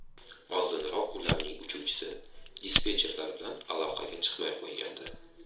Oldinroq uning uchuvchisi dispetcherlar bilan aloqaga chiqmay qo‘ygandi.